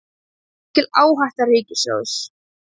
Mikil áhætta ríkissjóðs